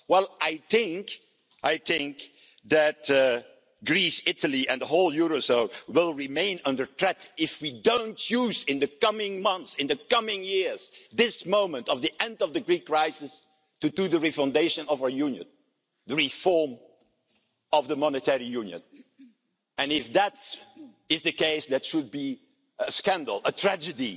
choice. Well, I think that Greece, Italy and the whole eurozone will remain under threat if we do not make a choice in the coming months and years, at this moment of the end of the Greek crisis, to bring about the re foundation of our Union and reform of the Monetary Union. If we were not to do so, it would be a scandal,